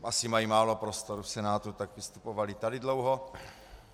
Asi mají málo prostoru v Senátu, tak vystupovali tady dlouho.